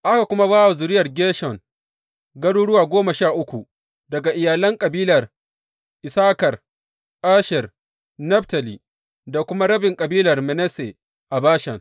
Aka kuma ba wa zuriyar Gershon garuruwa goma sha uku daga iyalan kabilan Issakar, Asher, Naftali, da kuma rabin kabilar Manasse a Bashan.